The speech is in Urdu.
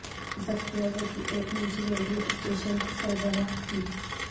ذکیہ ذکی ایک نجی ریڈیو اسٹیشن کی سربراہ تھیں